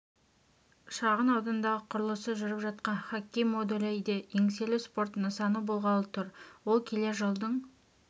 шағын аудандағы құрылысы жүріп жатқан хоккей модулі де еңселі спорт нысаны болғалы тұр ол келер жылдың